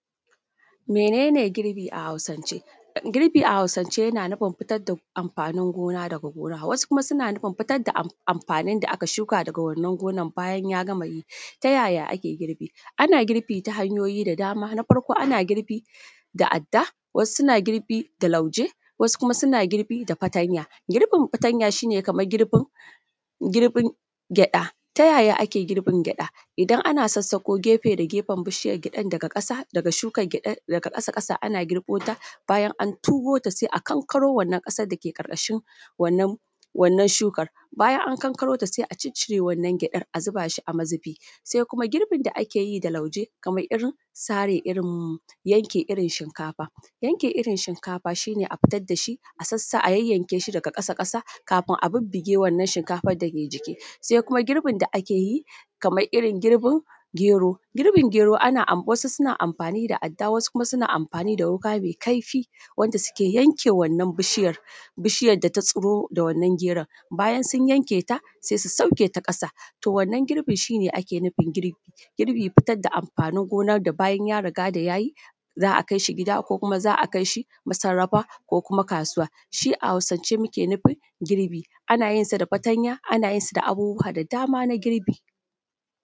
Mene ne girbi a hausance? Girbi a hausance a hausance yana nufin fitar da amfanin gona daga gona, wasu kuma suna nufin fitar da amfaanin da aka shuka daga wannan gonan bayan ya gama yi. Ta yayaa ake girbi? Ana girbi ta hanyooyi da dama, na farko ana girbi da adda, wasu suna girbi da lauje, wasu kuma suna girbi da fatanya. Girbin fatanya shi ne kamar girbin, girbin gyaɗa. Ta yayaa ake girbin gyaɗa? Idan ana sassaƙo gefe da gefen bishiyan gyaɗan daga ƙasa daga shukan gyaɗan daga ƙasa-ƙasa ana girbota, bayan an tugoota sai a kankaro wannan ƙasar dake ƙarƙashin wannan, wannan shukar, bayan an kankarota sai a ciccire wannan gyaɗan a zubaa shi a mazubii. Sai kuma girbin da ake yi da lauje kamar irin sare irin yanke irin shinkafa. Yanke irin shinkafa shi ne a fitar da shi a sassa a yayyanke shi daga ƙasa-ƙasa kafin a bubbuge wannan shinkafan dake jiki. Sai kuma girbin da ake yi kamar irin girbin gero, girbin gero wasu suna amfaani da adda wasu kuma suna amfaani da wuƙa mai kaifii wanda suke yanke wannan bishiyar, bishiyar da ta tsiro da wannan geron, bayan sun yanke ta sai su sauke ta ƙasa. To wannan girbin shi ne ake nufin girbi. Girbin fitar da amfaanin gonar da bayan ya riga da ya yi, za a kai shi gida ko kuma za a kai shi masarrafa ko kuma kaasuwa, shi a hausance muke nufin girbi, ana yin sa da fatanya ana yinsa da abubuwa da dama na girbi.